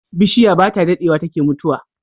Bishiya bata dadewa take mutuwa